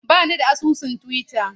Ba ni da asusun Twitter.